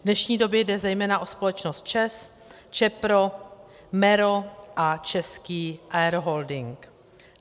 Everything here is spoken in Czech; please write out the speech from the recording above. V dnešní době jde zejména o společnost ČEZ, Čepro, MERO a Český Aeroholding.